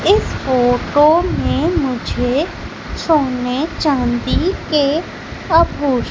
इस फोटो में मुझे सोने चांदी के आभू--